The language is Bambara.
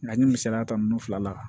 N ye misaliya ta ninnu fila la